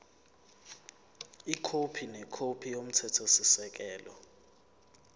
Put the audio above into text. ikhophi nekhophi yomthethosisekelo